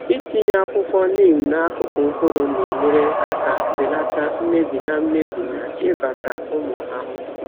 Ịtinye akwụkwọ neem n’akụkụ mkpụrụ na-enyere aka belata mmebi na mmebi na ịbata ụmụ ahụhụ.